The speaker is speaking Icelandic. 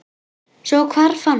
Svo hvarf hann.